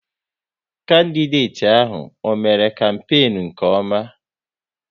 Kandideti ahụ, ọ mère kampenu nke ọma?